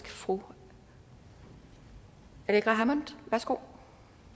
fru aleqa hammond værsgo